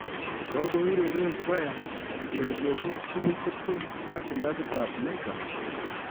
Kogoureren Bryant ureriosiek tugul 20 ak kilabit ab Lakers.